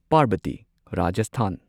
Parbati Rajasthan